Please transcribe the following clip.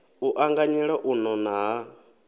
u anganyela u nona ha